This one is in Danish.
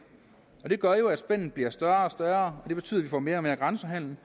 og det gør jo at spændet bliver større og større og det betyder at vi får mere og mere grænsehandel